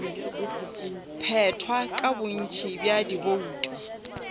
phethwa ka bontši bja dibouto